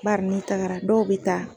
Bari ni tagara dɔw be taa